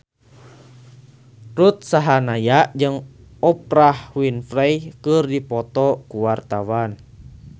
Ruth Sahanaya jeung Oprah Winfrey keur dipoto ku wartawan